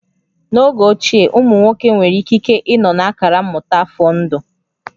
N'oge ochie, ụmụ nwoke nwere ikike ịnọ na akara mmụta afọ ndụ